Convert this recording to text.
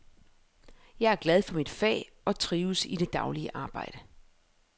Jeg er glad for mit fag og trives i det daglige arbejde.